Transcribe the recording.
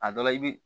A dɔ la i bi